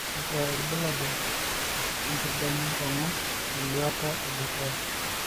kakua irbulabol le nkerdeny enkong'u eluata e dukuya